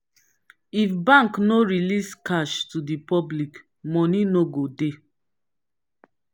if bank no release cash to the public money no go dey